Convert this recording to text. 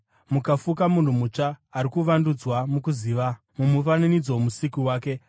mukafuka munhu mutsva, ari kuvandudzwa mukuziva, mumufananidzo woMusiki wake.